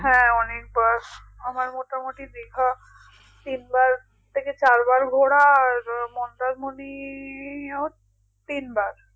হ্যাঁ অনেকবার আমার মোটামুটি দীঘা তিনবার থেকে চারবার ঘোরা আর মন্দারমণিও তিনবার